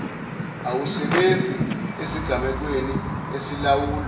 awusebenzi esigamekweni esilawulwa